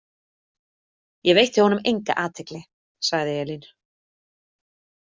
Ég veitti honum enga athygli, sagði Elín.